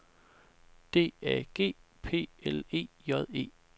D A G P L E J E